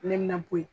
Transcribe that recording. Ne bɛna bɔ yen